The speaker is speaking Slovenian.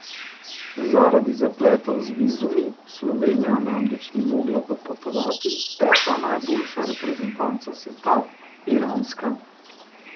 Zaradi zapletov z vizumi v Slovenijo namreč ni mogla dopotovati peta najboljša reprezentanca sveta, iranska.